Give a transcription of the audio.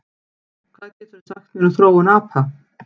Hvað geturðu sagt mér um þróun apa?